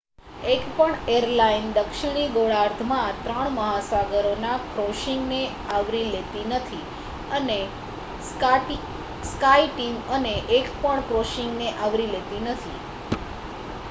એકપણ એરલાઇન દક્ષિણી ગોળાર્ધમાં ત્રણ મહાસાગરોના ક્રૉસિંગને આવરી લેતી નથી અને સ્કાયટીમ એકપણ ક્રૉસિંગને આવરી લેતી નથી